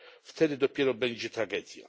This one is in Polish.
Wtedy dopiero będzie tragedia.